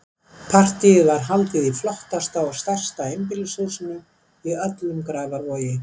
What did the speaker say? Partíið er haldið í flottasta og stærsta einbýlishúsinu í öllum Grafarvogi.